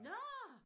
Nå!